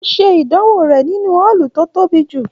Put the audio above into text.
O ṣe ìdánwò rẹ nínú ọọlú tó tóbi jù.